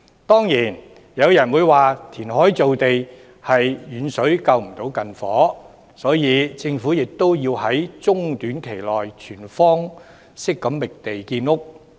當然，有人會說填海造地是遠水不能救近火，所以政府要在中短期內全方位覓地建屋。